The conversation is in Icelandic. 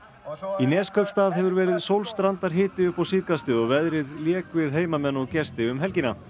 í Neskaupstað hefur verið upp á síðkastið og veðrið lék við heimamenn og gesti um helgina